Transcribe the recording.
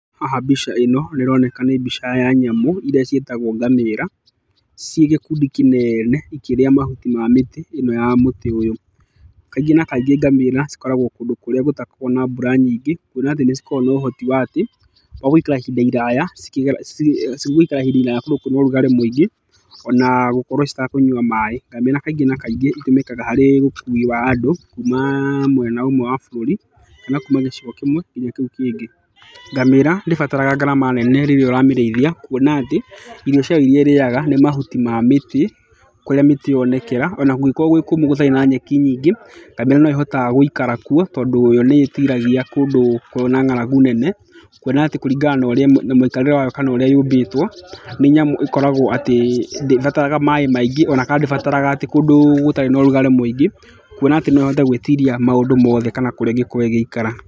Haha mbica ĩno nĩ ĩroneka nĩ mbica ya nyamũ irĩa ciĩtagwo ngamĩra, ci gĩkũndi kĩnene ikĩrĩa mahuti ma mĩtĩ ĩno ya mũtĩ ũyũ. Kaingĩ na kaingĩ ngamĩra cikoragwo kũndũ kũrĩa gũtakoragwo na mbura nyingĩ. Kuona atĩ nĩ cikoragwo na ũhoti wa atĩ wa gũikara ihinda iraya kũndũ kwĩna ũrugarĩ mũingĩ ,ona gũkorwo citakũnyua maĩ. Ngamĩra kaingĩ na kaingĩ itũmĩkaga harĩ ũkui wa andũ kuuma mwena ũmwe wa bũrũri kana kuuma gĩcigo kĩmwe nginya kĩu kĩngĩ. Ngamĩra ndĩbataraga ngarama nene rĩrĩa ũramĩrĩithia. Kuona atĩ irio ciayo irĩa ĩrĩaga nĩ mahuti ma mĩtĩ kũrĩa mĩtĩ yonekera, ona kũngĩkorwo gwĩ kũũmũ gũtarĩ na nyeki nyingĩ, ngamira no ĩhotaga gũikara kuo. Tondũ yo nĩ ĩhotaga gũikara kuo, tondũ yo nĩ ĩĩtiragia kũndũ kwĩna ng'aragu nene. Kuona atĩ kũringana na mũikarĩre wayo kana ũrĩa yũmbĩtwo nĩ nyamũ ĩkoragwo atĩ ndĩbataraga maĩ maingĩ ona kana ndĩbataraga atĩ kũndũ gũtarĩ na ũrugarĩ mũingĩ. Kuona atĩ no ĩhote gwĩtiria maũndũ mothe kana kũrĩa ĩngĩkorwo ĩgĩikara.